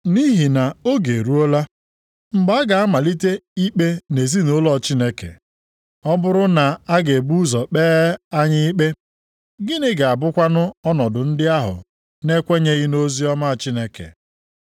Nʼihi na oge eruola, mgbe a ga-amalite ikpe nʼezinaụlọ Chineke. Ọ bụrụ na a ga-ebu ụzọ kpee anyị ikpe, gịnị ga-abụkwanụ ọnọdụ ndị ahụ na-ekwenyeghị nʼoziọma Chineke?